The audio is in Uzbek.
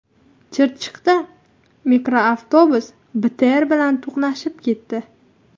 Chirchiqda mikroavtobus BTR bilan to‘qnashib ketdi.